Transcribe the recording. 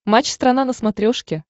матч страна на смотрешке